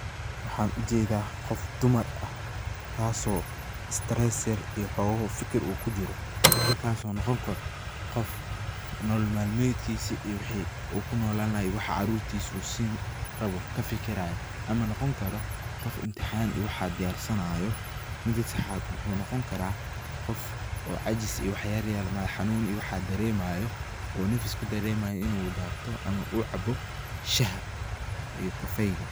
Waxan u jedaa qof dumar ah tasoo stress yar iyo xoogo fikir yar u kujiro, fikirkas oo noqon karo qof nolol malmedkisi iyo wixi ku nolaan lahay iyo waxa carurtisa u siin rawo inu kafikirayo ama noqon karo qog imtixaan iyo waxa diyarsanayo, mida sedaxaad waxa u noqon kara qof oo cajis oo wax yala yaryar iyo madax xanun iyo waxa daremayo oo nafis kudaremayo inu tabto ama uu cabo shax iyo kafeyga.